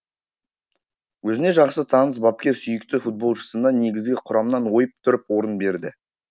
өзіне жақсы таныс бапкер сүйікті футболшысына негізгі құрамнан ойып тұрып орын берді